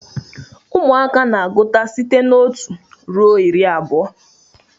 Ụmụaka na-agụta site na otu ruo iri abụọ